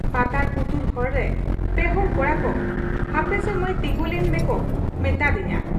ᱯᱟᱛᱟᱲ ᱯᱩᱛᱩᱲ ᱦᱚᱨ ᱨᱮ ᱯᱮ ᱦᱚᱲ ᱠᱚᱲᱟᱠᱚ ᱦᱟᱯᱮᱥᱮ ᱢᱟᱹᱭ ᱛᱤᱸᱜᱤᱞᱮᱱ ᱢᱮᱠᱚ ᱢᱮᱛᱟᱫ ᱫᱤᱧᱟ ᱾